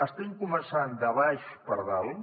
estem començant de baix cap a dalt